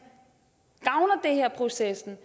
gavner det her processen